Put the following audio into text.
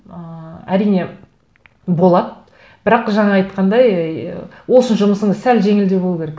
ыыы әрине болады бірақ жаңа айтқандай ы ол үшін жұмысыңыз сәл жеңілдей болу керек